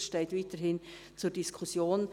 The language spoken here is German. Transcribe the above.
Dies steht weiterhin zur Diskussion.